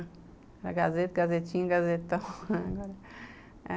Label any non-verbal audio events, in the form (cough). Era Gazeta, Gazetinha, Gazetão (laughs)